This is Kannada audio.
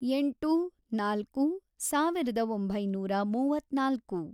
ಎಂಟು, ನಾಲ್ಕು, ಸಾವಿರದ ಒಂಬೈನೂರ ಮೂವತ್ನಾಲ್ಕು